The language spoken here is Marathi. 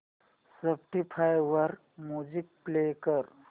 स्पॉटीफाय वर म्युझिक प्ले कर